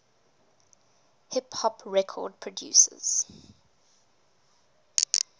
hip hop record producers